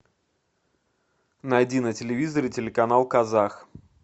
найди на телевизоре телеканал казах